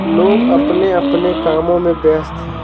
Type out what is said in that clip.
लोग अपने-अपने कामों में व्यस्त हैं।